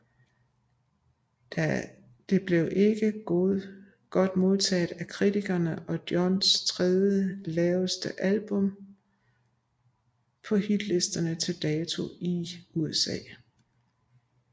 Det blev ikke godt modtaget af kritikerne og er Johns tredje laveste album på hitlisterne til dato i USA